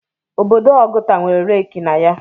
Obodo Ọgụta nwere Leeki na ya.